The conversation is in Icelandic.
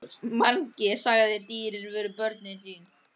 Mangi sagði að dýrin væru börnin sín.